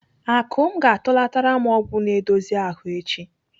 Akụm ga-atụlatara m ọgwụ na-edozi ahụ echi.